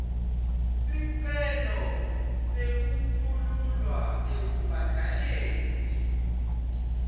sicelo sekukhululwa ekubhadaleni